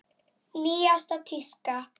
Nýjasta tíska?